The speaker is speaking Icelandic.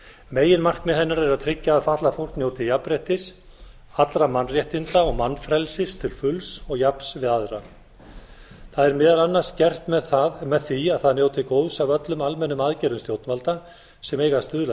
meginmarkmið hennar er að tryggja að fatlað fólk njóti jafnréttis allra mannréttinda og mannfrelsis til fulls og jafns við aðra það er meðal annars gert með því að það njóti góðs af öllum almennum aðgerðum stjórnvalda sem eiga að stuðla að